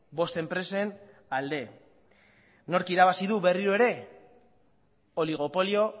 bost enpresen alde nork irabazi du berriro ere oligopolio